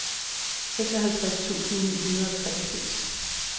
seksoghalvtreds tusind ni hundrede og fireogtres